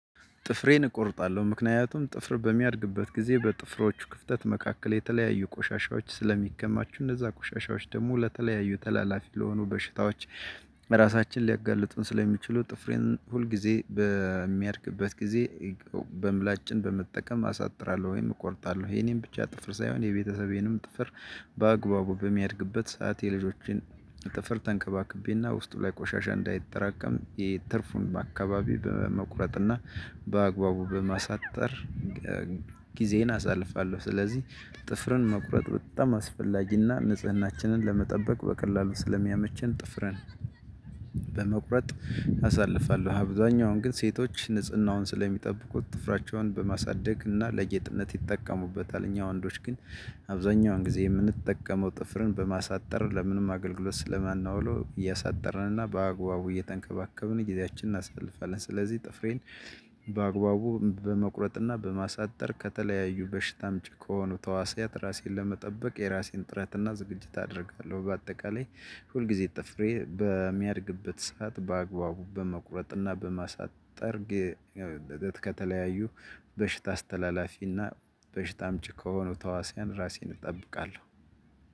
ጥፍሬን እቆርጣለሁ ምክንያቱም ጥፍር በሚያድግበት ጊዜ በጥፍሮቹ ክፍተት መካከል የተለያዩ ቆሻሻዎች ስለሚከማቹ እነዛ ቁሻሻዎች ደግሞ ለተለያዩ ተላላፊ ለሆኑ በሽታዎች። ራሳችንን ሊያጋልጡን ስለሚችሉ ጥፍሬን ሁል ጊዜ በሚያድግበት ጊዜ። በምላጭን በመጠቀም አሳጥራለሁ ወይም እቆርጣለሁ የኔን ብቻ ጥፍር ሳይሆን የቤተሰቤንም ጥፍር። በአግባቡ በሚያድግበት ሰዓት የልጆቼን ጥፍር ተንከባክቤና ውስጡ ላይ ቆሻሻ እንዳይጠራቀም የትርፉን አካባቢ በመቁረጥና በአግባቡ በማሳጠር። ጊዜን አሳልፋለሁ። ስለዚህ ጥፍርን መቁረጥ በጣም አስፈላጊና ንጽህናችንን ለመጠበቅ በቀላሉ ስለሚያመቸን ጥፍረን በመቁረጥ አሳልፋለሁ። አብዛኛውን ግን ሴቶች ንጽህናውን ስለሚጠብቁት ጥፍራቸውን በማሳደግ እና ለጌጥነት ይጠቀሙበታል። እኛ ወንዶች ግን። አብዛኛውን ጊዜ የምንጠቀመው ጥፍርን በማሳጠር ለምንም አገልግሎት ስለማናውለው እያሳጠርን እና በአግባቡ እየተንከባከብን ጊዚያችን እናሳልፋለን። ስለዚህ ጥፍሬን በአግባቡ በመቁረጥና በማሳጠር ከተለያዩ በሽታ አምጭ ከሆኑ ተዋስያት ራሴን ለመጠበቅ የራሴን ጥረትና ዝግጅት አደርጋለሁ። በአጠቃላይ ሁልጊዜ ጥፍሬ በሚያድግበት ሰዓት በአግባቡ በመቁረጥና በማሳጠር። ከተለያዩ በሽታ አስተላላፊና በሽታ አምጭ ከሆነው ተዋስያን ራሴን እጠብቃለሁ።